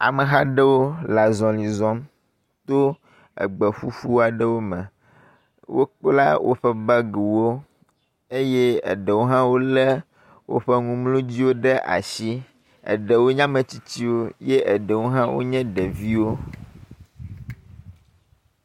Ameha aɖewo le azɔli zɔm to egbe ƒuƒu aɖewo me. Wokpla woƒe bagiwo eye eɖewo wolé woƒe numlɔdziwo ɖe asi. eɖewo nye ametsitsiwo ye eɖewo hã wonye ɖeviwo.